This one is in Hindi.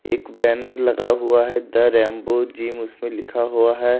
एक बैनर लगा हुआ है द रैम्बो जिम उस पे लिखा हुआ है।